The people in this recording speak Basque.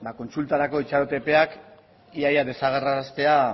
kontsultarako itxaron epeak ia ia desagerraraztea